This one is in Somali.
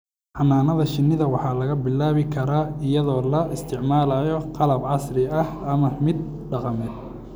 Xannaanada shinnida waxaa lagu bilaabi karaa iyadoo la isticmaalayo qalab casri ah ama mid dhaqameed.